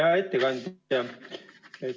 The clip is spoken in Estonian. Hea ettekandja!